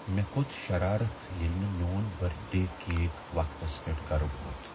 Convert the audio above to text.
مےٚ کھوٚت شرارت ییٚلہ نہٕ میون برتھ ڈے کیک وقتس پیٹھ گرٕ ووت۔